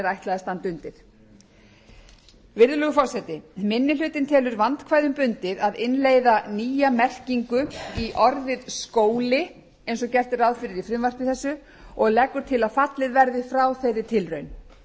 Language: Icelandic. ætlað að standa undir virðulegur forseti minni hlutinn telur vandkvæðum bundið að innleiða nýja merkingu í orðið skóli eins og gert er ráð fyrir í frumvarpi þessu og leggur til að fallið verði frá þeirri tilraun